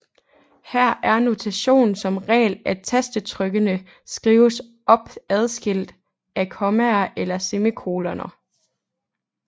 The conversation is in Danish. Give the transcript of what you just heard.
Her er notationen som regel at tastetrykkene skrives op adskilt af kommaer eller semikoloner